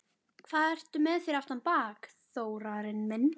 Hvað ertu með fyrir aftan bak, Þórarinn minn?